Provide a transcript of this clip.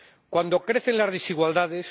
Cuando crecen las desigualdades